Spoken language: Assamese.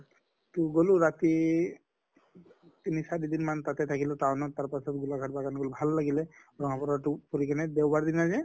তʼ গʼলো ৰাতি তিনি চাৰি দিন মান তাতে থাকিলো town ত তাৰ পাছত গোলাঘাট বাগান গʼলো ভাল লাগিল। টো ফুৰি কিনে